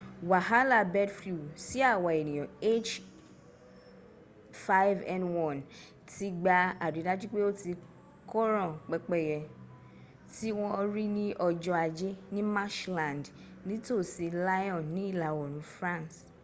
wàhálà bird flu sí àwa ènìyàn h5n1 ti gba àrídájú pé o ti koran pẹ́pẹ́yẹ tí wọ́n rí ní ọjọ́ ajé ní marshland ní tò sí lyon ní ìlà òòrùn france